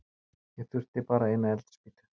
Ég þurfti bara eina eldspýtu.